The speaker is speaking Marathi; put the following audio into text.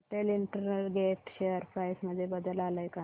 पटेल इंटरग्रेट शेअर प्राइस मध्ये बदल आलाय का